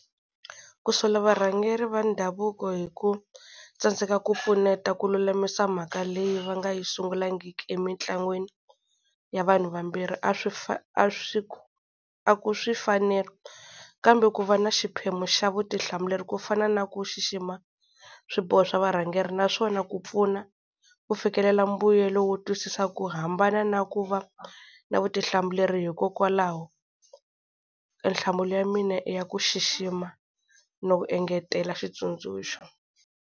Ku sola varhangeri va ndhavuko hi ku tsandzeka ku pfuneta ku lulamisa mhaka leyi va nga yi sungulangiki emitlangwini, ya vanhu vambirhi s swi a ku kambe ku va na xiphemu xa vutihlamuleri ku fana na ku xixima swiboho swa varhangeri naswona ku pfuna ku fikelela mbuyelo wo twisisa ku hambana na ku va na vutihlamuleri hikokwalaho a nhlamulo ya mina i ya ku xixima na ku engetela xitsundzuxo.